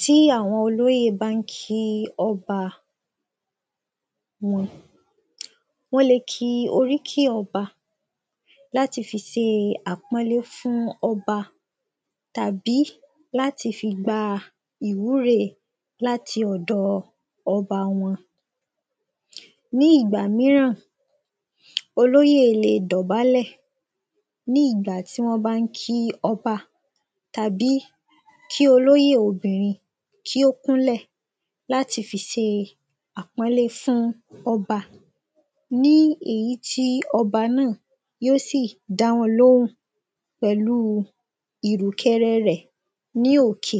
tí àwọn olóyè bá ń kí ọba wọ́n le ki oríkì ọba láti fi se àpọ́nlé fún ọba tàbí láti fi gba ìwúre láti ọdọ ọba wọn ní ìgbà mìíràn olóyè le dọbálẹ̀ ní ìgbà tí wọ́n bá ń kí ọba tàbí kí olóyè obìnrin kí ó kúnlẹ̀ láti fi se àpọ́nlé fún ọba ní èyí tí ọba náà yó sì dá wọn lóhùn pẹ̀lú ìrùkẹ̀rẹ̀ rẹ̀ ní òkè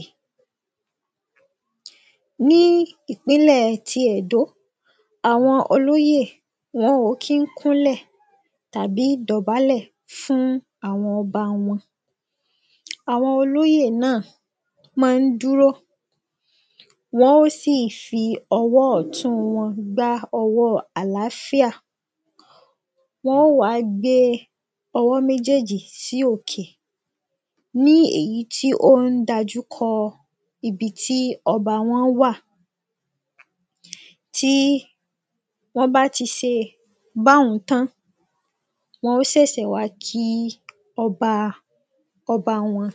ní ìpínlẹ̀ ti Ẹ̀dó àwọn olóyè wọn ò kí ń kúnlẹ̀ tàbí dọ̀bálẹ̀ fún àwọn ọba wọn àwọn olóyè náà máa ń dúró wọn ó sì fi ọwọ́ ọ̀tún wọn gbá ọwọ́ àlááfíà wọn ó wàá gbé e ọwọ mẹ́jèèjì sí òkè ní èyí tí ó ń dájúkọ ibi tí ọba wọn wà tí wọ́n bá ti se báun tán wọn ó sẹ̀sẹ̀ wá kí ọba ọba wọn